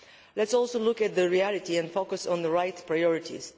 Let us also look at the reality and focus on the right priorities.